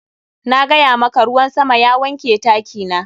Na gaya maka, ruwan sama ya wanke taki na.